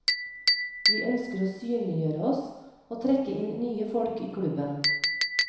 Vi ønsker å synliggjøre oss og trekke inn nye folk i klubben.